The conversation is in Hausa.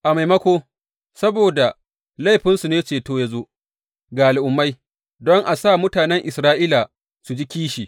A maimako, saboda laifinsu ne ceto ya zo ga Al’ummai don a sa mutanen Isra’ila su ji kishi.